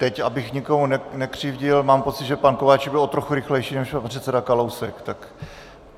Teď abych nikomu nekřivdil, mám pocit, že pan Kováčik byl o trochu rychlejší než pan předseda Kalousek.